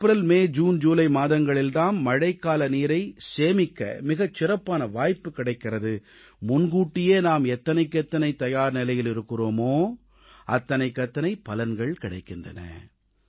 April May June July மாதங்களில் தாம் மழைக்கால நீரை சேமிக்க மிகச் சிறப்பான வாய்ப்பு கிடைக்கிறது முன்கூட்டியே நாம் எவ்வளவுக்கு எவ்வளவு தயார்நிலையில் இருக்கிறோமோ அவ்வளவுக்கு அவ்வளவு பலன்கள் கிடைக்கின்றன